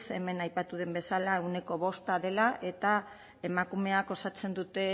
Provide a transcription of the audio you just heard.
hemen aipatu den bezala ehuneko bosta dela eta emakumeak osatzen dute